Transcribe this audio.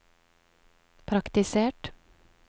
praktisert